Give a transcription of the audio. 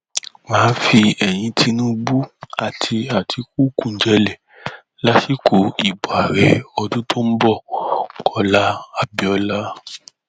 má a fi eyín tinubu àti àtikukú janlẹ lásìkò ìbò ààrẹ ọdún tó ń bọ kọlá abiola